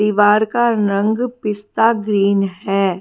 दीवार का रंग पिस्ता ग्रीन है।